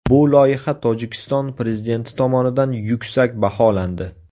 Bu loyiha Tojikiston prezidenti tomonidan yuksak baholandi.